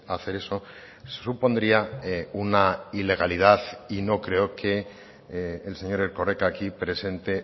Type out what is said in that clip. hacer eso supondría una ilegalidad y no creo que el señor erkoreka aquí presente